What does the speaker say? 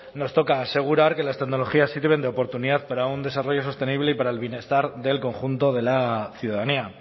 nos toca asegurar que las tecnologías sirven de oportunidad para un desarrollo sostenible y para el bienestar del conjunto de la ciudadanía